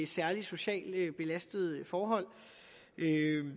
særlig socialt belastede forhold